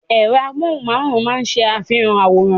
Ẹ̀rọ amóhùnmáwòrán máa ń ṣe àfihàn àwòrán.